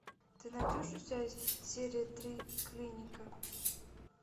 ты найдешь у себя серию три клиника